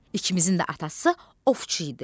İkimizin də atası ovçu idi.